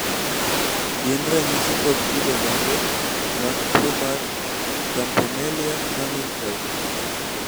gin ranyisi kod kido mage mag tuwo mar campomelia cumming type?